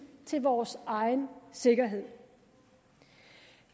til vores egen sikkerhed